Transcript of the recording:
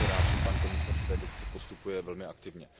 Jsem velmi rád, že pan komisař v této věci postupuje velmi aktivně.